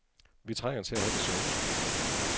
Vi trænger til at have det sjovt.